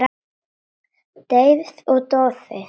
Deyfð og doði.